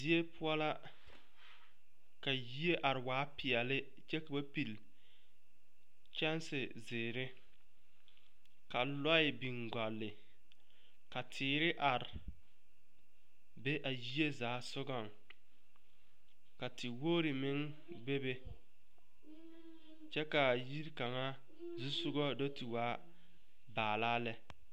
Die poɔ la ka yie are waa peɛle kyɛ ka ba pile kyaŋsi zēēre ka lɔɛ biŋ gɔli ka teere are be a yie zaa sɔgɔŋ ka te woŋri meŋ bebe kyɛ kaa yiri kaŋazusɔgɔ do te waa baalaa lɛ.